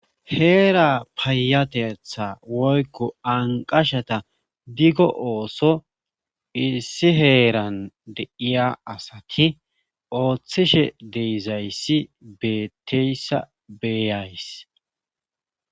Heera paayatetha woykko anqashata diggo ooso issi heeran deiya asati ooththishe deizayssi beetteyssa beeyays.